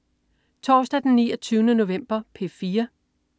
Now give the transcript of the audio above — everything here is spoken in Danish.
Torsdag den 29. november - P4: